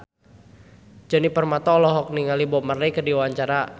Djoni Permato olohok ningali Bob Marley keur diwawancara